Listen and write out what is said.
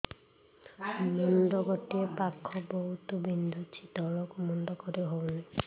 ମୁଣ୍ଡ ଗୋଟିଏ ପାଖ ବହୁତୁ ବିନ୍ଧୁଛି ତଳକୁ ମୁଣ୍ଡ କରି ହଉନି